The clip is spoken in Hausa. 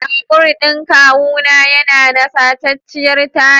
Babur ɗin kawuna yana da sacacciyar taya.